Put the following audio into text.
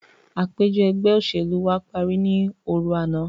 Àpèjọ ẹgbẹ́ òṣèlú wa parí ní òru àná.